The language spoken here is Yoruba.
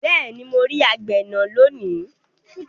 Beeni mo ri agbena loni